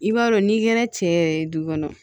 I b'a dɔn n'i kɛra cɛ yɛrɛ ye du kɔnɔ